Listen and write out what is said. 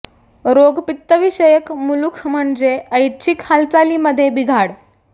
रोग पित्तविषयक मुलूख म्हणजे ऐछ्चिक हालचालीमध्ये बिघाड